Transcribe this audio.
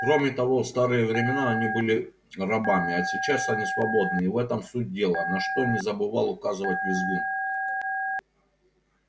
кроме того в старые времена они были рабами а сейчас они свободны и в этом суть дела на что не забывал указывать визгун